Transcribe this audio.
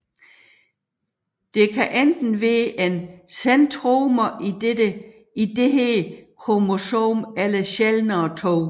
Der kan enten være én centromer i dette kromosom eller sjældnere 2